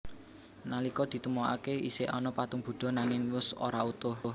Nalika ditemoaké isih ana patung Buddha nanging wus ora utuh